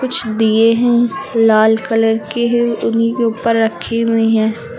कुछ दिए हैं लाल कलर के है उन्हीं के ऊपर रखी हुई है।